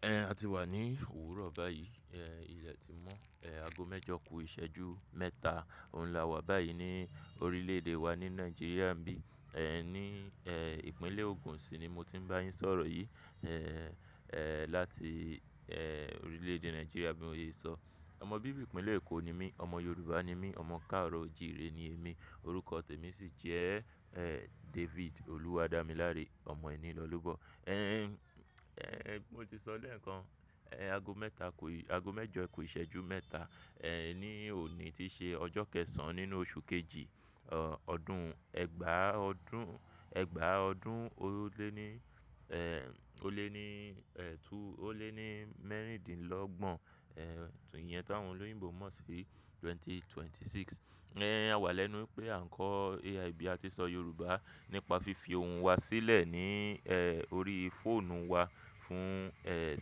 Ẹn, a ti wà ní òwúrọ̀ báyìí. Ẹn, ilẹ̀ ti mọ́. Ẹn, ago mẹ́jọ ku ìṣẹ́jú mẹ́ta òun la wà báyìí ní orílẹ̀-èdè wa ni Nàìjíríà bí ẹn. Ẹn, ní ẹ̀ Ìpínlẹ̀ Ògùn sì ni mo ti ń bá yín sọ̀rọ̀ yìí. Ẹ̀ ẹ̀ láti ẹ̀ orílẹ̀-èdè Nàìjíríà bí mo ṣe sọ. Ọmọ bíbí ìpínlẹ̀ Èkó ni mí. Ọmọ Yorùbá ni mí. Ọmọ Káàro Jìre ni émi. Orúkọ tèmi sì jẹ́ ẹ̀ David Oluwadamilare, ọmọ ẹní lọlóbọ̀. Ẹ̀n ẹ̀ mo ti sọ lẹ̀ẹ̀kan, ẹ̀ aago mẹ́ta ku ẹ aago mẹ́jọ ku ìṣẹ́jú mẹ́ta. Ẹ̀n ni òní ti ṣe ọjọ́ kẹ́ẹ̀sàn-án nínú oṣù kejì, ọ́ ọdún ẹgbàá ọdún, ẹgbàá ọdún o lé ní ẹ́ o lé ní ẹ́ tu o lé ní mẹ́rìndínlọ́gbọ̀n. Ẹ̀ ètò ìyẹn táwọn olóyìnbo mọ̀ sí 2026. Ẹ̀n a wà lẹ́nu pé à ń kọ́ AIB, a ti ṣọ Yorùbá nípa fífi ohun wa sílẹ̀ ní ẹ̀ orí fóònù wa fún ẹ̀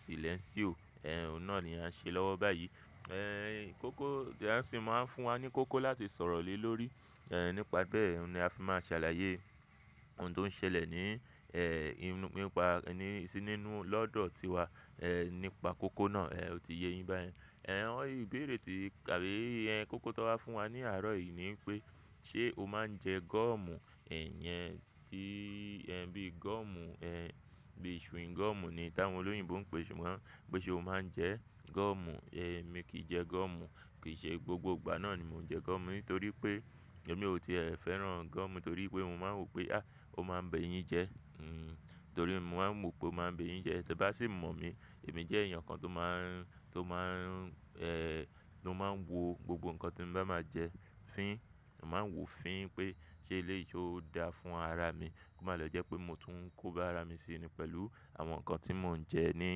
Silénsiò. Ẹ̀n òhun náà ni a n ṣe lọ́wọ́ báyìí. Ẹ̀n ì kó kó bí a ṣe máa ń fún wa ní kó kó láti sọ̀rọ̀ lé lórí. Ẹ̀n nípa bẹ́ẹ̀ ni a fi máa ń ṣàlàyé ohun tó ń ṣẹlẹ̀ ní ẹ̀ inú nípa ẹni sí nínú lọ́dọ̀ ti wa. Ẹ̀ nípa kó kó náà. Ẹ̀ o ti yé yín bá yẹn. Ẹ̀n ọ́ ìbéèrè tí kàbìíyè ẹ́ kó kó tó wá fún wa ní àárọ̀ yìí ni pé ṣé o máa ń jẹ gọ́ọ̀mù? Ẹ̀n yẹn ti ẹ́n bíi gọ́ọ̀mù ẹ̀ bíi chewing gum ni hin tá wọn olóyìnbo ń pè é ṣùgbọ́n pé ṣé o máa ń jẹ gọ́ọ̀mù? Emi kì í jẹ gọ́ọ̀mù. Kì í ṣe gbogbo ìgbà náà ni mò ń jẹ gọ́ọ̀mù nítorí pé èmi ò tí ẹ̀ fẹ́ràn gọ́ọ̀mù torí pé mò ń máa n wòó pé à ó máa ń bèyín jẹ́. Hmm. Torí mo máa ń mọ̀ pé ó máa ń bè yín jẹ. Tẹ bá sì mọ̀ mi, èmi jẹ́ èèyàn kan tó máa ń tó máa ń ẹ́ tó máa ń wo gbogbo nǹkan tí mò bá máa jẹ fín. Mò máa ń wo fín pé ṣé eléyìí ṣe ó dáa fún ara mi. Kò má lọ jẹ́ pé mò tún ń kó bá ara mi síni pẹ̀lú àwọn nǹkan tí mò ń jẹ ní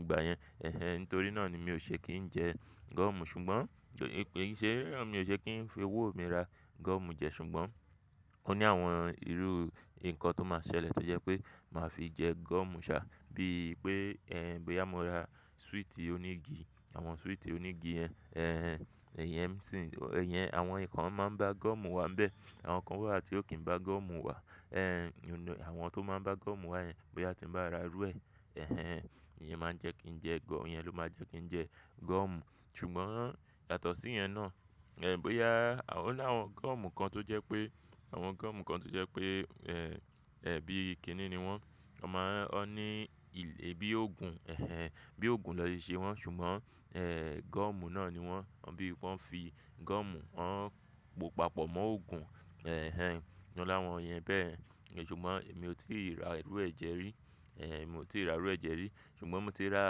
ìgbà yẹn. Ẹ̀hẹ́n nítorí náà ni mi ò ṣe kí n jẹ́. Gọ́ọ̀mù ṣùgbọ́n jẹ́ pé kì í ṣe rárá mi ò ṣe kí n fi owó mi ra gọ́ọ̀mù jẹ ṣùgbọ́n ó ní àwọn irú nǹkan tó máa ń ṣẹlẹ̀ tó jẹ́ pé màá fi jẹ gọ́ọ̀mù ṣá. Bíi pé ẹ̀ bóyá mo ra súìtì onígi, àwọn súìtì onígi yẹn. Ẹ̀hẹ́n èyẹn sì ẹ̀yẹn àwọn nǹkan máa ń bá gọ́ọ̀mù wà níbẹ̀. Àwọn kan wà tí ó kì í bá gọ́ọ̀mù wà. Ẹ̀n inú àwọn tó máa ń bá gọ́ọ̀mù wà yẹn, bóyá tí mo bá ra rú ẹ. Ẹ̀hẹn ìyẹn máa ń jẹ́ kí n jẹ gọ́ọ̀ yẹn ló máa ń jẹ́ kí n jẹ gọ́ọ̀mù. Ṣùgbọ́n yàtọ̀ sí yẹn náà, ẹ̀ bóyá a ó ní àwọn gọ́ọ̀mù kan tó jẹ́ pé àwọn gọ́ọ̀mù kan tó jẹ́ pé ẹ́ ẹ̀ bíi kiní ni wọ́n. Wọn máa ń wọ́n ní ìlé bí òògùn. Ẹ̀hẹn bíi òògùn ná ṣeṣe wọ́n ṣùgbọ́n ẹ̀ gọ́ọ̀mù náà ni wọ́n. Wọ́n bí i pé wọ́n fi gọ́ọ̀mù wọ́n po papọ̀ mọ́ òògùn. Ẹ̀hẹn inu láwọn yẹn bẹ́ẹ̀. Ṣùgbọ́n èmi ò tí ì ra rú ẹ jẹ rí. Ẹ mi ò tí ì ra rú ẹ̀ jẹ rí. Ṣùgbọ́n mò ti rà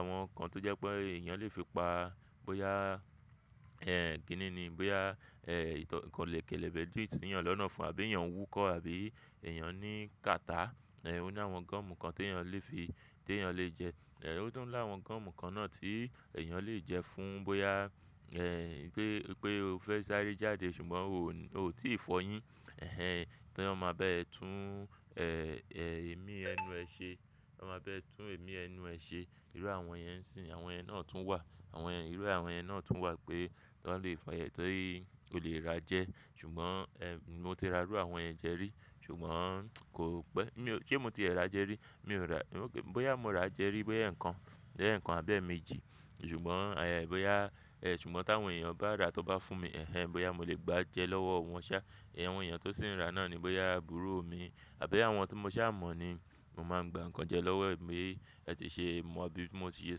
àwọn kan tó jẹ́ pé èèyàn lè fi pa bóyá ẹ̀ kìní ni, bóyá ẹ̀ ìtọ̀ kẹ̀lẹ̀bẹẹ̀ dì tí èèyàn lọ náà ọ̀fun àbí èèyàn nwúkọ́ àbí èèyàn ní kàtà. Ẹ̀ ó ní àwọn gọ́ọ̀mù kan tí èèyàn lè fi tí èèyàn lè jẹ. Ẹ̀ ó tún láwọn gọ́ọ̀mù kan náà tí èèyàn lè jẹ fún bóyá ẹ́ o fẹ́ sáré jáde ṣùgbọ́n o ò tí ì fọyín. Ẹ̀hẹn pé wọ́n máa bá ẹ tún ẹ̀ ẹ́ ìmí ẹnu ẹ ṣe. Wọ́n máa bá ẹ tún ìmí ẹnu ẹ ṣe. Irú àwọn yẹn n sì hín àwọn yẹn náà tún wà. Àwọn ẹ́ irú àwọn ẹ́ náà tún wà pé wọ́n lè fọ yẹn torí o lè ra jẹ. Ṣùgbọ́n ẹ̀ mò ti ra rú àwọn ẹ́ jẹ rí ṣùgbọ́n kò pẹ́ mi ò ṣe mi ò ti ẹ̀ ra jẹ rí. Mi ò ra bóyá mò ra jẹ rí, bóyá ẹ̀ẹ̀kan. Lẹ́ẹ̀kan àbẹ́ẹ̀mejì. Ṣùgbọ́n àyà ẹ̀ bóyá ẹ̀ ṣùgbọ́n táwọn èèyàn bá ra tó bá fún mi. Ẹ̀hẹnẹ̀n bóyá mò lè gbà jẹ lọ́wọ́ wọn ṣá. Ẹ̀ àwọn èèyàn tó sì ń ra náà ni bóyá àbúrò mi àbí àwọn tí mo ṣáà mọ̀ ni mò máa ń gba ǹkan jẹ lọ́wọ́ ẹ̀. Bí ẹ́ ti ṣe mọ̀ bí mo ti ṣe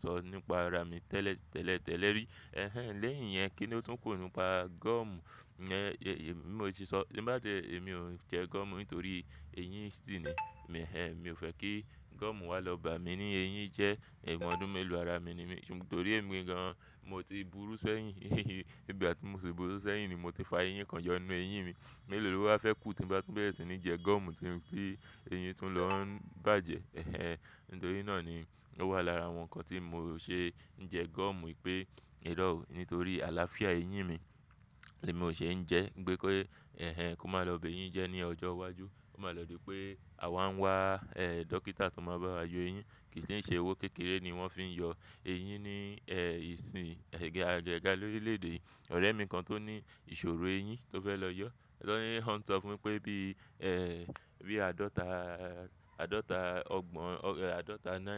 sọ nípa ara mi tẹ́lẹ̀ tẹ́lẹ̀ tẹ́lẹ́ rí. Ẹ̀hẹ́nẹ̀n lẹ́yìn yẹn kí ni ó tún kù nípa gọ́ọ̀mù. Ẹ̀ẹẹ̀ bí mo ti sọ tí n bá ti ẹ̀ èmi ò ń jẹ gọ́ọ̀mù nítorí eyín ṣì ni. Ẹ̀hẹnẹ̀n mi ò fẹ́ kí gọ́ọ̀mù wà lọ́ bá mi ní eyín jẹ́. Ìbọn ọdún mélòó ara mi ni mí ṣùgbọ́n torí èmi gan-an mò ti burú sẹ́yìn. Bí i gbà tí mo tib urú sẹ́yìn ni mò ti fa eyín kan yọ nínú eyín mi. Mẹ́lòó ló wá fẹ́ kú tí bá tún bẹ̀rẹ̀ sí ní jẹ gọ́ọ̀mù tí eyín tún lọ ń bàjẹ́. Ẹ̀hẹn nítorí náà ni ó wà lára àwọn nǹkan tí mò ò ṣe ń jẹ gọ́ọ̀mù pé irọ́ ò nítorí àlàáfíà eyín mi. Bí mo ṣe ń jẹ pé kó ẹ̀hẹnẹ́nk ó má lọ bẹ̀ yín jẹ ní ọjọ́ iwájú. Kò máa lọ di pé àwa ń wá ẹ̀ dókítà tó máa bá wa yọ eyín. Kì í ṣe owó kékeré ni wọ́n fi ń yọ eyín ní ẹ̀ ìsìn ẹ̀ gẹ́ àjẹgà lórílẹ̀-èdè yìí. Ọ̀rẹ́ mi kan tó ní ìṣòro eyín tó fẹ́ lọ yọ. Ọ̀lọ́ ló ń sọ fún mi pé bí ẹ̀ bí àádọ́ta àádọ́ta ọgbọ̀n ọ́ àádọ́ta náírà.